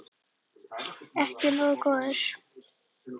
Ekki nógu góður!